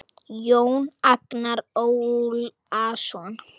Jón Agnar Ólason